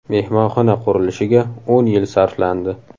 Mehmonxona qurilishiga o‘n yil sarflandi.